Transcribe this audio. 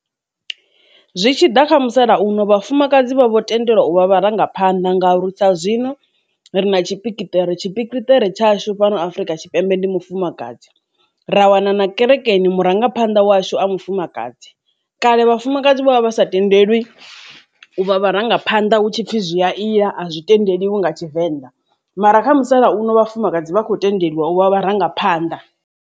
Zwi tshi ḓa kha musalauno vhafumakadzi vha vho tendelwa u vha vharangaphanḓa ngau ri sa zwino ri na tshipikitere tshipikitere tshashu fhano afrika tshipembe ndi mufumakadzi ra wana na kerekeni murangaphanḓa washu a mufumakadzi kale vhafumakadzi vha vha vha sa tendelwi u vha vharangaphanḓa hu tshipfi zwi a ila a zwi tendeliwi nga tshivenḓa mara kha musalauno vhafumakadzi vha khou tendeliwa u vha vharangaphanḓa.